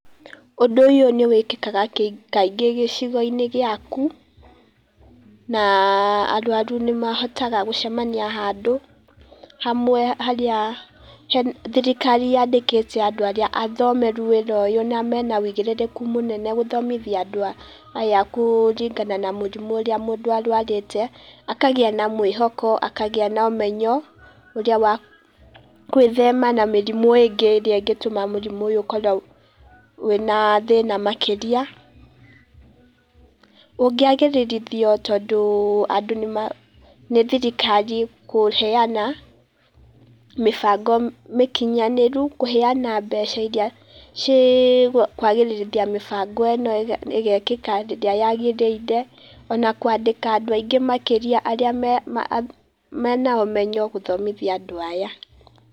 Ũndũ ũyũ nĩ wĩkĩkaga ka kaingĩ gĩcigo-inĩ gĩaku, na arũarũ nĩ mahotaga gũcemania handũ, hamwe harĩa he thirikari yandĩkĩte andũ arĩa athomweru wĩra ũyũ na mena wĩigirĩrĩku mũnene gũthomithia andũ aya kũrigana na mũrimũ ũrĩa mũndũ arũarĩte. Akagĩa na mwĩhoko, akagĩa na ũmenyo ũrĩa wa gwĩthema na mĩrimũ ĩngĩ ĩrĩa ĩngĩtũma mũrimu ũyũ ukorwo wĩna thĩna makĩria. Ũngĩagĩrĩrithio tondũ, andũ nĩ thirikari kũheana, mĩbango mĩkinyanĩru kũheana mbeca iria ci kwagĩrĩrithia mĩbango ĩno ĩgekĩka rĩrĩa yagĩrĩire, ona kwandĩka andũ aingĩ makĩria arĩa menya ũmenyo gũthomithia andũ aya.